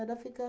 Era ficar...